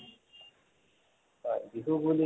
বিহু বুলি কলে